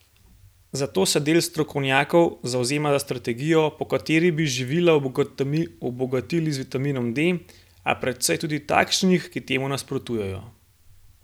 Zato se del strokovnjakov zavzema za strategijo, po kateri bi živila obogatili z vitaminom D, a precej je tudi takšnih, ki temu nasprotujejo.